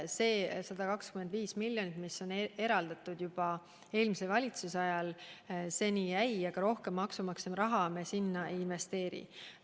Need 125 miljonit eurot, mis eraldati juba eelmise valitsuse ajal, on seni jäänud, aga rohkem maksumaksja raha me sinna ei investeeri.